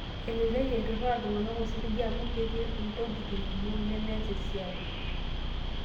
Elelek eiturra iltung'anak osiligi amu ketii ntokiting' kumok nemeas esiai.